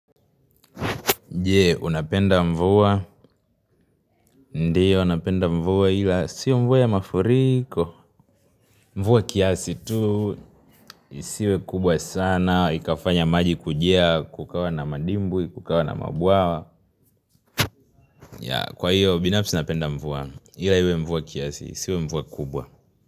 Je? Napenda mvua? Ndiyo napenda mvua ila, sio mvua ya mafurikooooo Mvua kiasi tu, isiwe kubwa sana, ikafanya maji kujia, kukawa na madimbwi, kukawa na mabuawa ya, kwa hiyo, binafsi napenda mvua, ila iwe mvua kiasi, isiwe mvua kubwa.